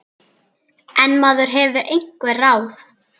En maður hefur einhver ráð.